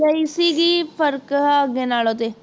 ਲਈ ਸੀਗੀ ਫਰਕ ਹੈ ਅੱਗੇ ਨਾਲੋਂ ਤੇ